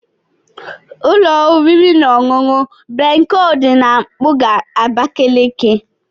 Ụlọ oriri na ọṅụṅụ Bencol dị na mpụga Abakaliki.